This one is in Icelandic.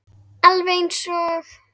Alveg eins og